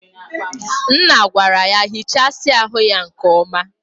Nna gwara ya hichasia ahu ya nke oma.